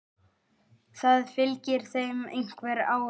Það fylgir þeim einhver ára.